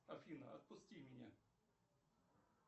афина отпусти меня